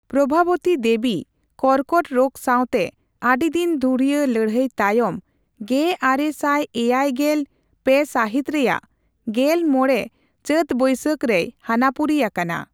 ᱯᱨᱚᱵᱷᱟᱵᱚᱛᱤ ᱫᱮᱵᱤ ᱠᱨᱚᱠᱚᱴ ᱨᱳᱜᱽ ᱥᱟᱣᱛᱮ ᱟᱹᱰᱤ ᱫᱤᱱ ᱫᱷᱩᱨᱤᱭᱟᱹ ᱞᱟᱹᱲᱦᱟᱹᱭ ᱛᱟᱭᱚᱢ ᱑᱙᱗᱓ ᱥᱟᱹᱦᱤᱛ ᱨᱮᱭᱟᱜ ᱑᱕ ᱪᱟᱹᱛᱼᱵᱟᱹᱭᱥᱟᱹᱠ ᱨᱮᱭ ᱦᱟᱱᱟᱯᱩᱨᱤ ᱟᱠᱟᱱᱟ ᱾